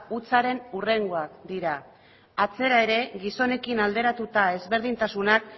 hutsaren hurrengoak dira atzera ere gizonekin alderatuta ezberdintasunak